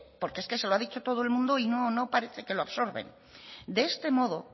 porque es que se lo ha dicho todo el mundo y no parece que lo absorben de este modo